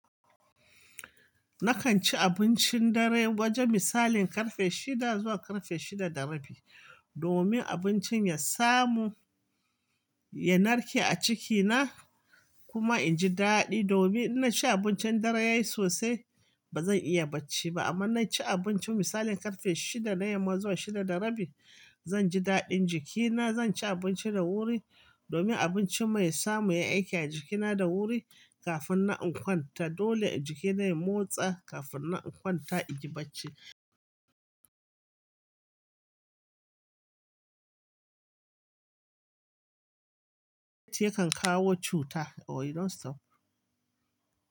Nakan ci abincin dare wajen misali ƙarfe shida zuwa ƙarfe shida da rabi, domin abincin ya samu ya narke a cikina kuma inji daɗi. Domin inna ci abincin dare yayi sosai bazan iya bacci ba, amma na ci abinci misali ƙarfe shida na yamma zuwa shida da rabi zanje daɗin jikina. Zanci abinci da wuri domin abinci mai samu ya aiki a jikina da wuri kafin na kwanta. Dole jikina ya motsa kafin nan in kwanta inyi bacci. Yakan kawo cuta or you know stop.